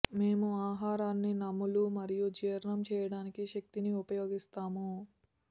మేము ఆహారాన్ని నమలు మరియు జీర్ణం చేయడానికి శక్తిని ఉపయోగిస్తాము